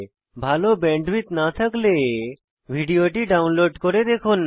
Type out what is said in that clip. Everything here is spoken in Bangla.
ভাল ব্যান্ডউইডথ না থাকলে ভিডিওটি ডাউনলোড করে দেখুন